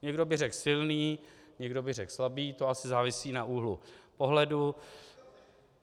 Někdo by řekl silný, někdo by řekl slabý, to asi závisí na úhlu pohledu.